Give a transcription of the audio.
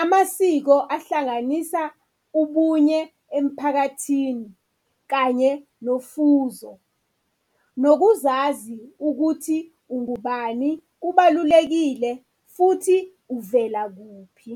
Amasiko ahlanganisa ubunye emphakathini kanye nofuzo, nokuzazi ukuthi ungubani kubalulekile futhi uvela kuphi.